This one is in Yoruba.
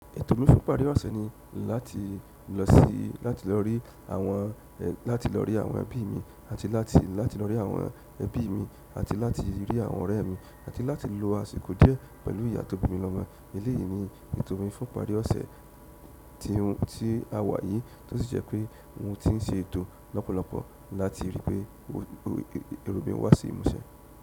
Ètò mi fún ìparí ọ̀sẹ̀ ni láti lọ sí, láti lọ rí àwọn, láti lọ rí àwọn ẹbí mi àti láti, láti lọ rí àwọn ẹbí mi àti láti rí àwọn ọ̀rẹ́ mi àti láti lo àsìkò díẹ̀ pẹ̀lú ìyá tó bí mi lọ́mo. Eléyìí ni ètò mi fún ìparí ọ̀sẹ̀ tí, tí a wà yìí tó sì jẹ́ pé mo ti ń ṣe ètò lọ́pọ̀lọ́pọ̀ láti ríi pé èrò mí wá sí ìmúṣẹ.